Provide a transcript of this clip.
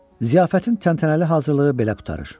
Ziyafətin təntənəli hazırlığı belə qurtarır.